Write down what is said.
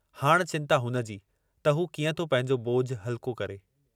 हाणि चिन्ता हुनजी त हू कीअं थो पंहिंजो ॿोझु हल्को करे।